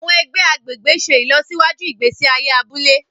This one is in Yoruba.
Àwọn ègbé agbègbè ṣe ìlọsíwájú ìgbésí ayé abúlé